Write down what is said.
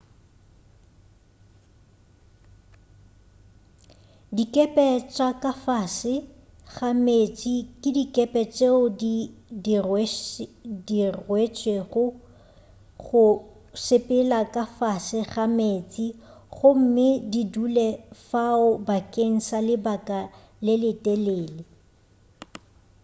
dikepe tša ka fase ga meetse ke dikepe tšeo di diretšwego go sepela ka fase ga meeste gomme di dule fao bakeng sa lebaka le letelele